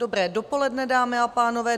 Dobré dopoledne, dámy a pánové.